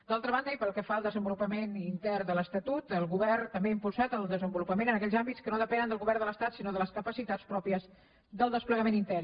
d’altra banda i pel que fa al desenvolupament intern de l’estatut el govern també ha impulsat el desenvolupament en aquells àmbits que no depenen del govern de l’estat sinó de les capacitats pròpies del desplegament intern